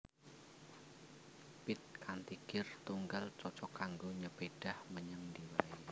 Pit kanthi gir tunggal cocog kanggo nyepédhah menyang endi waé